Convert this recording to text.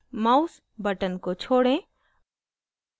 mouse button को छोड़ें